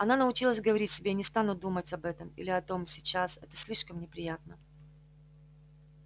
она научилась говорить себе я не стану думать об этом или о том сейчас это слишком неприятно